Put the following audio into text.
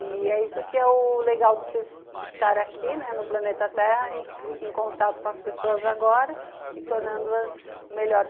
E é isso que é o legal de estar aqui, né, no Planeta Terra, em contato com as pessoas agora e tornando-as melhores.